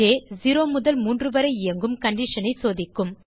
ஜ் 0 முதல் 3 வரை இயங்கும் கண்டிஷன் ஐ சோதிக்கும்